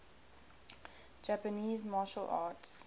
japanese martial arts